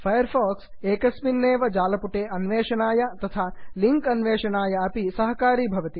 fire fox एकस्मिन्नेव जालपुटे अन्वेषणाय तथा लिङ्क् अन्वेषणाय अपि सहकरोति